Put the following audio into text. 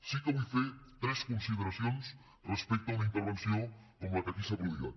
sí que vull fer tres consideracions respecte a una intervenció com la que aquí s’ha prodigat